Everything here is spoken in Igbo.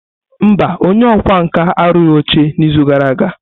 Mba, onye ọkwá nkà arụghị oche n'izu gara aga.